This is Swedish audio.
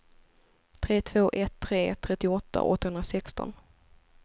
tre två ett tre trettioåtta åttahundrasexton